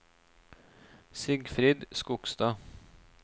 Sigfrid Skogstad